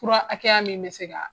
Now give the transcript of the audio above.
Fura hakɛya min bɛ se ka